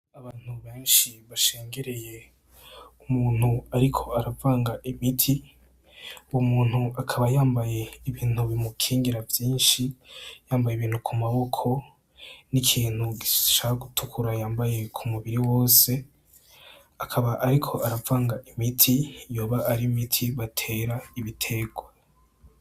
Abantu benshi bashengereye umuntu ariko aravanga imiti, umuntu akaba yambaye ibintu bimukingira vyinshi yambaye ibintu kumaboko, n'ikintu gishaka gutukura yambaye k'umubiri wose akaba ariko aravanga imiti yoba ar'imiti batera ibiterwa.